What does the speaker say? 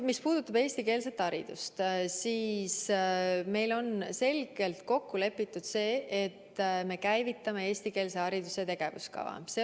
Mis puudutab eestikeelset haridust, siis meil on selgelt kokku lepitud see, et me käivitame eestikeelse hariduse tegevuskava.